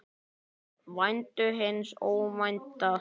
Væntu hins óvænta.